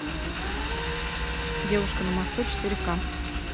девушка на мосту четыре ка